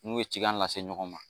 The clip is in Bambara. N'u ye cikan lase ɲɔgɔn ma